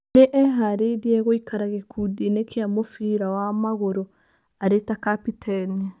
Nĩ eharĩirie gũikara gĩkundi-inĩ kĩa mũbira wa magũrũ arĩ ta Kapiteni.